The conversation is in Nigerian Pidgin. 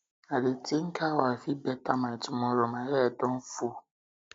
i dey think how i fit better um my tomorrow my head head don um full